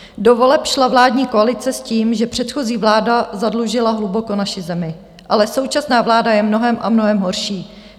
Do voleb šla vládní koalice s tím, že předchozí vláda zadlužila hluboko naši zemi, ale současná vláda je mnohem a mnohem horší.